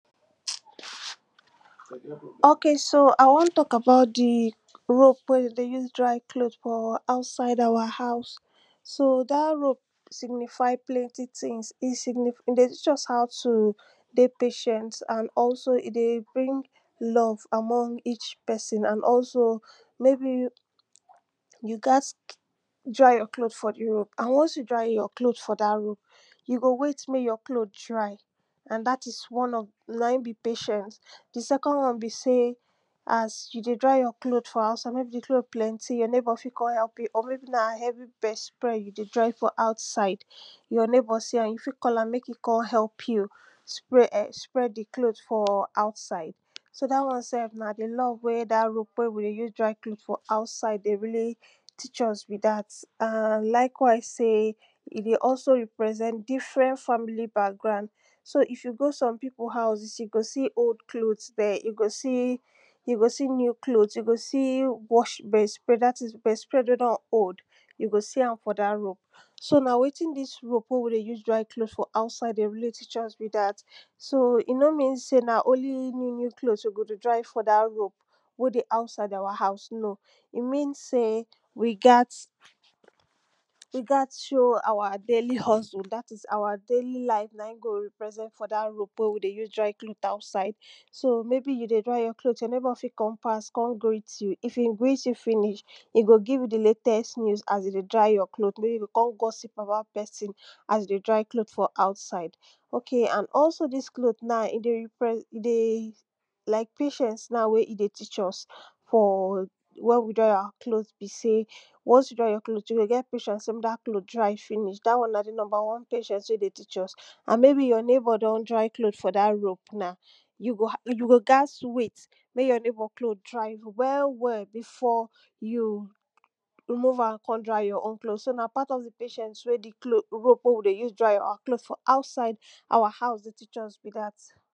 ok so i won talk about di rope wey we dey use dry cloth for outside our house. so dat rope, signify plenty things, e dey teach us how to dey patient and also e dey bring love amon each pesin and also maybe you gat dry yourcloth for di rope and once you dry your cloth for tat rope, you go wait mek your cloth dry and dat is one of na im be patient. di socnd one be seym, as you dey dry your cloth for outside maybe di cloth planty your neighbour fit kon help you or maybe na heavy bedspread you dey dry for outside, your neighbor see am you fit call am mek e kon help you. spread eh sprad di cloth for outside. so dat won self na di love wey dat rope wey we dey use dry cloth for outside dey really teach us be dat. en likewise sey e dey also represent different family background. so if you go some pipu house, you go see old cloth there, you go see you go see new cloth, you go see washed bed spread dat is bed spread wey don old, you go see am for dat rope. so na wetin dis rope wey we dey use dry cloth outside na wetin e dey really teach us be dat. so eno men sey na only new new we go dey for dat rope. wey dey outside our house no. e mean sey we gat we gat show our daily hustle dat is our daily life dat is na in go represent dat rope wey we dey use dry cloth for outside. so mabe you dey dry your cloth your eighbour fit kon pass greet you, if e greet you finish, e go give you di latest news as you dey dry your cloths maybe kon gossip about pesin. as you dey dry cloth for outside. ok and also dis cloth na e dey like patience na wey e dey teach for where we dry our cloth, be sy once you dry your cloth, you go get patient sey mek dat cloth dry finish dat one na di number one patiece wey e dey teac us. ad maybe your neighbour don dry cloth for ther, yu go gats wait mey your neigbour cloth dry well well before you remove am kon dry you own so na part of di patience wey di rope wey we dey use dry our cloth for outside dey teach us be dat.